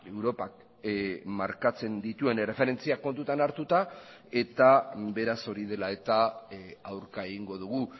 europak markatzen dituen erreferentziak kontutan hartuta eta beraz hori dela eta aurka egingo dugu